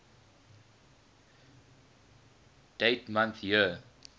dd mm yyyy